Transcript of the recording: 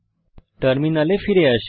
টার্মিনালে ফিরে আসি